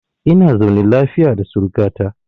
Ina zaune lafiya da suruka ta.